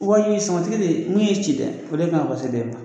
Wali samatigi de min y'i ci dɛ o de kan ka pase de ma